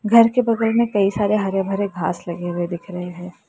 घर के बगल में कई सारे हरे भरे घास लगे हुए दिख रहे हैं।